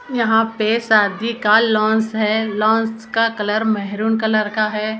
यहाँ पर शादी का लॉन्ज हे लॉन्ज का कलर मारून कलर का है उसका।